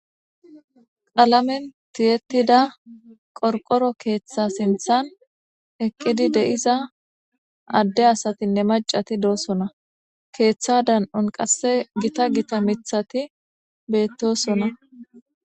Alamen tiyettida qorqoro keeththa sinthan eqqidi de7iza adde asatinne macati doosona keeththa dan7on qasse gita gita mithati beettosona.